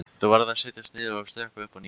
Þá varð að setjast niður og stokka upp á nýtt.